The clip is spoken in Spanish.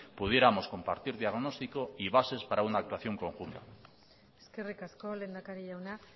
pudiéramos compartir diagnóstico y bases para una actuación conjunta eskerrik asko lehendakari jauna